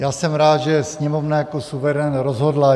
Já jsem rád, že Sněmovna jako suverén rozhodla.